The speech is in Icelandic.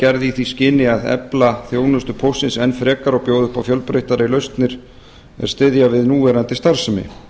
gerð í því skyni að efla þjónustu póstsins enn frekar og bjóða upp á fjölbreyttari lausnir er styðja við núverandi starfsemi